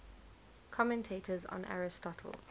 commentators on aristotle